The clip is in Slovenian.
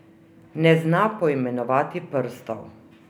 Ne zna poimenovati prstov.